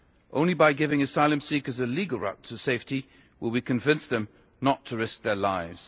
Only by giving asylum seekers a legal route to safety will we convince them not to risk their lives.